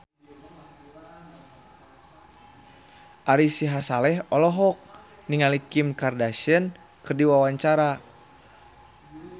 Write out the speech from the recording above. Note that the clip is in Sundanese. Ari Sihasale olohok ningali Kim Kardashian keur diwawancara